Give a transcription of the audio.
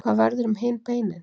Hvað verður um hin beinin?